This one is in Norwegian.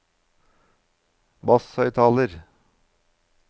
basshøyttaler